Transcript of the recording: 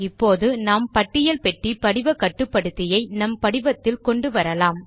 இப்போது நாம் பட்டியல் பெட்டி படிவ கட்டுப்படுத்தியை நம் படிவத்தில் கொண்டுவரலாம்